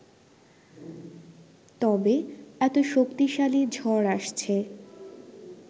তবে এত শক্তিশালী ঝড় আসছে